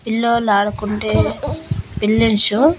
పిల్లోల్లు ఆడుకుంటే బిల్లిన్షు.